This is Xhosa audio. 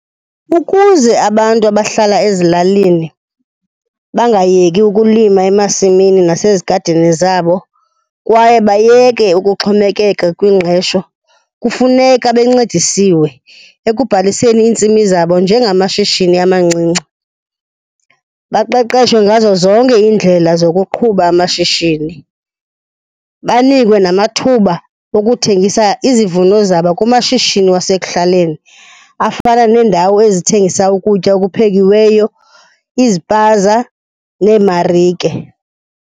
Ukuze abantu abahlala ezilalini bangayeki ukulima emasimini nasezigadini zabo kwaye bayeke ukuxhomekeka kwingxesho, kufuneka bencedisiwe ekubhaliseni iintsimi zabo njengamashishini amancinci. Baqeqeshwe ngazo zonke iindlela zokuqhuba amashishini. Banikwe namathuba wokuthengisa izivuno zabo kumashishini wasekuhlaleni afana neendawo ezithengisa ukutya okuphekiweyo, izipaza neemarike.